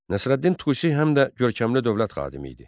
Nəsrəddin Tusi həm də görkəmli dövlət xadimi idi.